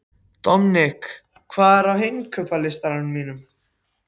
Dominik, hvað er á innkaupalistanum mínum?